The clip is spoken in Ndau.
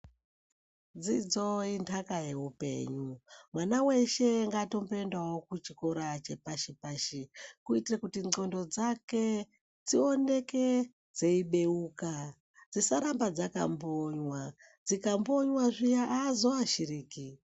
Dzidzo indaka yeupenyu. Mwana weshe ngaatomboendawo kuchikora chepashi pashi kuitire kuti ndxondo dzake dzioneke dzeibeuka dzisaramba dzakambonywa, dzikambonywa zviya aazoashiriki.